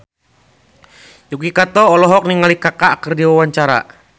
Yuki Kato olohok ningali Kaka keur diwawancara